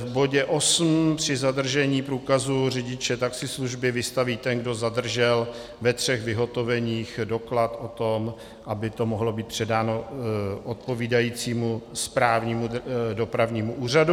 V bodě osm při zadržení průkazu řidiče taxislužby vystaví ten, kdo zadržel, ve třech vyhotoveních doklad o tom, aby to mohlo být předáno odpovídajícímu správnímu dopravnímu úřadu.